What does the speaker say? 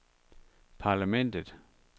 parlamentet